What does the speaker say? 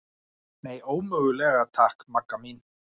Nei, ómögulega takk, Magga mín.